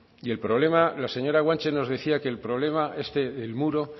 y el problema la señora guanche nos decía que el problema es que el muro